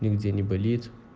нигде не болит